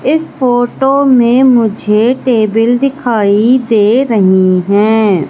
इस फोटो में मुझे टेबल दिखाई दे रही है।